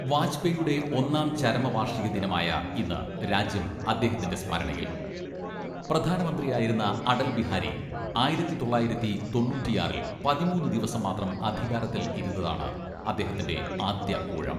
വാജ്പേയിയുടെ ഒന്നാം ചരമവാർഷികദിനമായ ഇന്ന് രാജ്യം അദ്ദേഹത്തിന്റെ സ്മരണയിൽ. പ്രധാനമന്ത്രിയായിരുന്ന അടൽ ബിഹാരി ആയിരത്തി തൊള്ളായിരത്തി തൊണ്ണൂറ്റിയാറിൽ പതിമൂന്ന് ദിവസം മാത്രം അധികാരത്തിൽ ഇരുന്നതാണ് അദ്ദേഹത്തിന്റെ ആദ്യ ഊഴം.